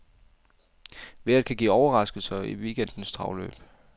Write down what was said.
Vejret kan give overraskelser i weekendens travløb.